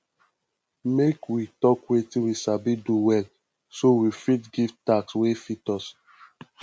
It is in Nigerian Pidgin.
make we talk wetin we sabi do well so we fit give task wey fit us